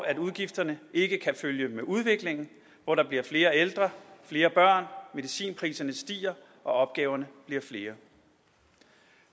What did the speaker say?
at udgifterne ikke kan følge med udviklingen hvor der bliver flere ældre flere børn medicinpriserne stiger og opgaverne bliver flere